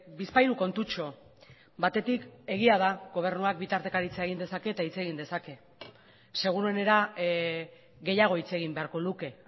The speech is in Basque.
bizpahiru kontutxo batetik egia da gobernuak bi tartekaritza egin dezake eta hitz egin dezake seguruenera gehiago hitz egin beharko luke